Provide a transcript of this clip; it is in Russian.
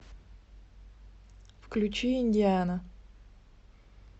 включи индиана